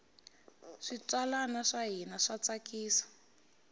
switsalwana swa hina swa tsakisa